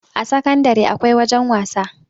a sakandare akwai wajen wasa